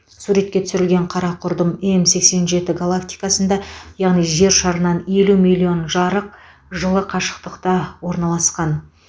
суретке түсірілген қара құрдым м сексен жеті галактикасында яғни жер шарынан елу миллион жарық жылы қашықтықта орналасқан